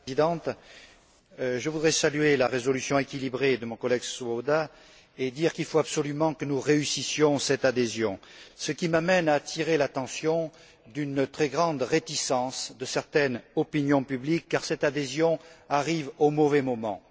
Madame la Présidente, je voudrais saluer la résolution équilibrée de mon collègue Swoboda et dire qu'il faut absolument que nous réussissions cette adhésion, ce qui m'amène à attirer l'attention sur une très grande réticence de certaines opinions publiques car cette adhésion arrive au mauvais moment.